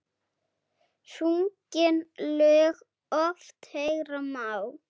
Sungin lög oft heyra má.